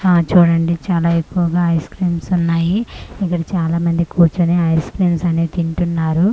ఆ చూడండి చాలా ఎక్కువగా ఐస్ క్రీమ్స్ ఉన్నాయి ఇక్కడ చాలా మంది కూర్చొని ఐస్ క్రీమ్స్ అనేవి తింటున్నారు ఆ--